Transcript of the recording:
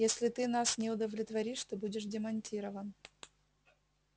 если ты нас не удовлетворишь ты будешь демонтирован